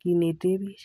kinetee bich.